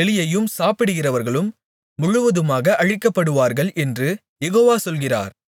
எலியையும் சாப்பிடுகிறவர்களும் முழுவதுமாக அழிக்கப்படுவார்கள் என்று யெகோவா சொல்கிறார்